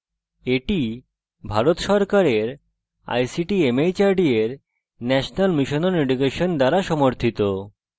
এটি ভারত সরকারের ict mhrd এর national mission on education দ্বারা সমর্থিত